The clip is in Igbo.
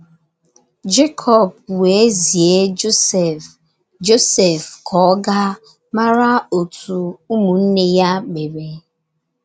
Jekọb wéé zié Josef Josef ka ọ gáá mara otú ụmụnne ya mere.